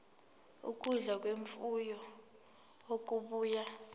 ukudla kwemfuyo okubuya